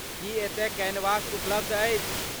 की एतय कैनवस उपलब्ध अछि?